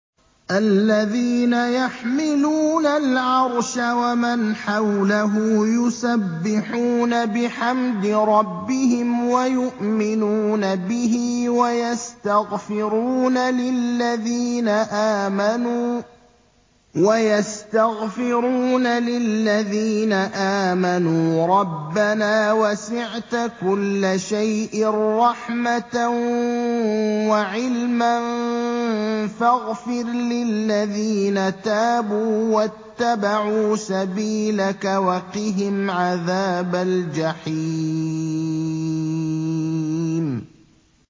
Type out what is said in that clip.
الَّذِينَ يَحْمِلُونَ الْعَرْشَ وَمَنْ حَوْلَهُ يُسَبِّحُونَ بِحَمْدِ رَبِّهِمْ وَيُؤْمِنُونَ بِهِ وَيَسْتَغْفِرُونَ لِلَّذِينَ آمَنُوا رَبَّنَا وَسِعْتَ كُلَّ شَيْءٍ رَّحْمَةً وَعِلْمًا فَاغْفِرْ لِلَّذِينَ تَابُوا وَاتَّبَعُوا سَبِيلَكَ وَقِهِمْ عَذَابَ الْجَحِيمِ